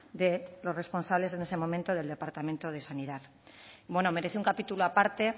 de los responsables en ese momento del departamento de sanidad bueno merece un capítulo aparte